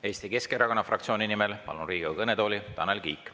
Eesti Keskerakonna fraktsiooni nimel palun Riigikogu kõnetooli, Tanel Kiik.